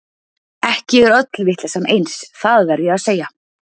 Ekki er öll vitleysan eins, það verð ég að segja.